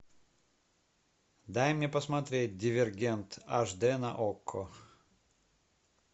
дай мне посмотреть дивергент аш д на окко